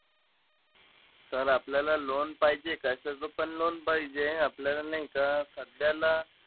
Sir आपल्याला loan पाहिजे. कशाचं पण loan पाहिजे. आपल्याला नाई का सध्याला,